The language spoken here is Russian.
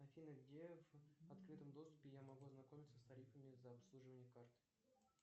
афина где в открытом доступе я могу ознакомиться с тарифами за обслуживание карты